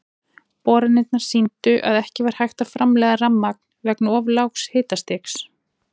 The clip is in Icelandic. Boranirnar sýndu að ekki var hægt að framleiða rafmagn vegna of lágs hitastigs.